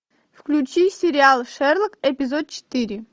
включи сериал шерлок эпизод четыре